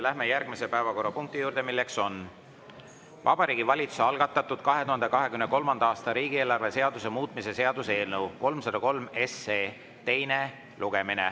Läheme järgmise päevakorrapunkti juurde: Vabariigi Valitsuse algatatud 2023. aasta riigieelarve seaduse muutmise seaduse eelnõu 303 teine lugemine.